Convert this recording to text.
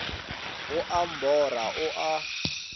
go a mbora o a